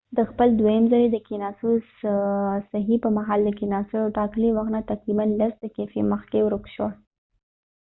د خپل دوهم ځلی د کېناستو د هڅی په مهال د کېناستلو د ټاکلی وخت نه تقریبا لس دقیفی مخکې ورکه شوه